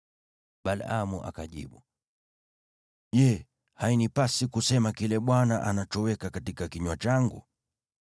Balaamu akajibu, “Je, hainipasi kusema kile Bwana anachoweka katika kinywa changu?”